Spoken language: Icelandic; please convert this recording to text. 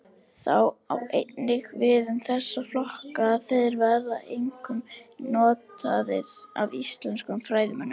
Það á einnig við um þessa flokka að þeir verða einkum notaðir af íslenskum fræðimönnum.